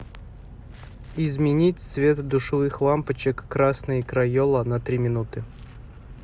изменить цвет душевых лампочек красный крайола на три минуты